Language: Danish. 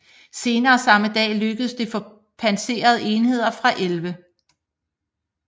Senere samme dag lykkedes det for pansrede enheder fra 11